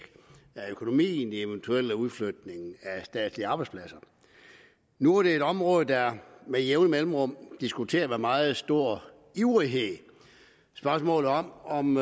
økonomien i eventuel udflytning af statslige arbejdspladser nu er det et område der med jævne mellemrum diskuteres med meget stor ivrighed spørgsmålet om om